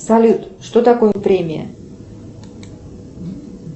салют что такое премия